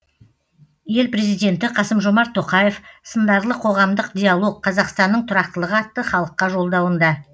ел президенті қасым жомарт тоқаев сындарлы қоғамдық диалог қазақстанның тұрақтылығы атты халыққа жолдауында